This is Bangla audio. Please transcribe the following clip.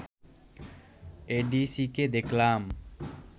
এডিসিকে দেখলাম